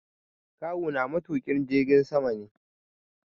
Kawu na matuƙin jirgin sama ne